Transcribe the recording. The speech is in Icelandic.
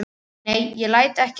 Nei, ég læt ekki staðar numið.